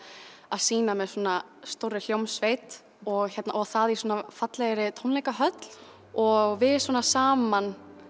að sýna með svona stórri hljómsveit og það í svona fallegri tónleikahöll og við svona saman